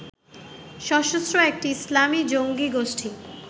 সশস্ত্র একটি ইসলামী জঙ্গী গোষ্ঠি